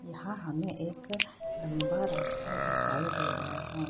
यहाँ हमें एक लंबा रास्ता दिखाई दे रहा है।